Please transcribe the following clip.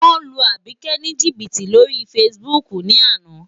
Wọ́n lu Àbíkẹ́ ní jìbìtì lórí Facebook ní àná.